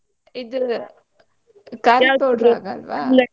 ಇದು ಖಾರದ್ powder ಆಗಲ್ವಾ?